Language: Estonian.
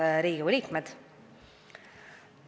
Head Riigikogu liikmed!